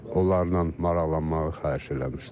Onlarla maraqlanmağı xahiş eləmişdim.